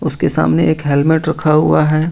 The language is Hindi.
उसके सामने एक हेल्मेट रखा हुआ है।